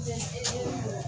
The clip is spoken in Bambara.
Yo